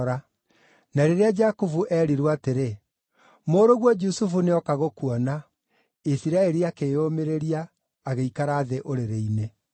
Na rĩrĩa Jakubu eerirwo atĩrĩ, “Mũrũguo Jusufu nĩoka gũkuona,” Isiraeli akĩĩyũmĩrĩria, agĩikara thĩ ũrĩrĩ-inĩ.